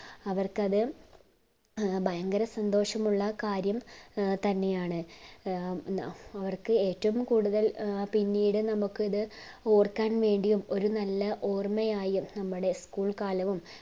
അവർക്കത് ഭയങ്കര സന്തോഷമുള്ള കാര്യം ഏർ തന്നെയാണ് ഉം അഹ് അവർക് ഏറ്റവും കൂടുതൽ പിന്നീട് നമ്മുക് അത് ഓർക്കാൻ വേണ്ടിയും ഒരു നല്ല ഓർമ്മയായും നമ്മടെ school കാലവും